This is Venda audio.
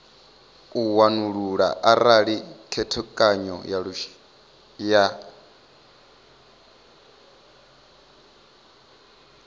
u wanulula arali khethekanyo ya